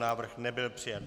Návrh nebyl přijat.